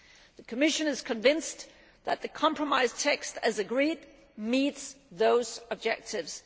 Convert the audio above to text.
The Commission is convinced that the compromise text as agreed meets those objectives.